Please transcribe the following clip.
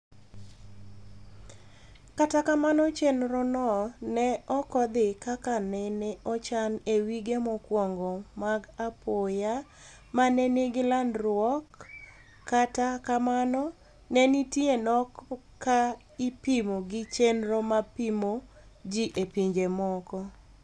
kata kamano chenrono ne okodhi kaka nene ochan e wige mokwongo mag apoya me ne nigi landruaok kata kamano nenitie nok ka ipimo gi chenro mar pimo ji e pinje moko.